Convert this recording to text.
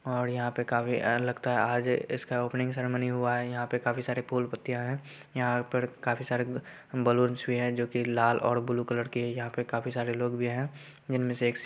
और यहाँ पे काफी अ लगता हैं। आज इसका ओपनिंग सेरीमनी हुआ हैं। यहाँ पे काफी सारे फुल पत्तिया हैं। यहां पे काफी सारे बैलूनन्स भी हैं। जो कि लाल और ब्लू कलर के हैं। यहाँ पे काफी सारे लोग भी हैं। जिनमे से एक--